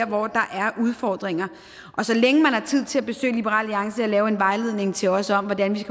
hvor der er udfordringer så længe man har tid til at besøge liberal alliance og lave en vejledning til os om hvordan vi